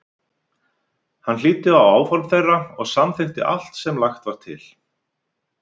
Hann hlýddi á áform þeirra og samþykkti allt sem lagt var til.